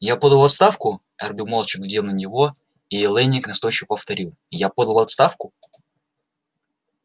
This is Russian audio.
я подал в отставку эрби молча глядел на него и лэннинг настойчиво повторил я подал в отставку